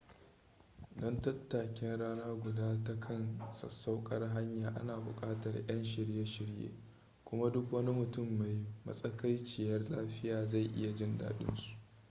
don tattakin rana guda ta kan sassauƙar hanya ana buƙatar 'yan shirye-shirye kuma duk wani mutum mai matsakaiciyar lafiy zai iya jin daɗin su